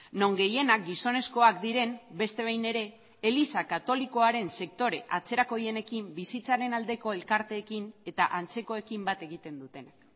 non gehienak gizonezkoak diren beste behin ere eliza katolikoaren sektore atzerakoienekin bizitzaren aldeko elkarteekin eta antzekoekin bat egiten dutenak